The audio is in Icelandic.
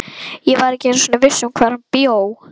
Ég var ekki einu sinni viss um hvar hann bjó.